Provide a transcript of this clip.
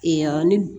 ne